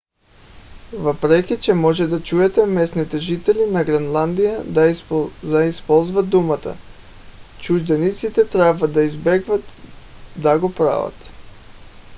въпреки че може да чуете местните жители на гренландия да използват думата чужденците трябва да избягват да го правят